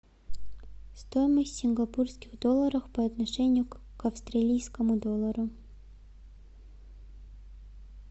стоимость сингапурских долларов по отношению к австралийскому доллару